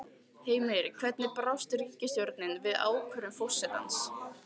Heimir, hvernig brást ríkisstjórnin við ákvörðun forsetans?